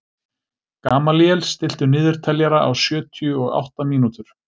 Gamalíel, stilltu niðurteljara á sjötíu og átta mínútur.